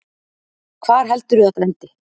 Hvar heldurðu þetta endi?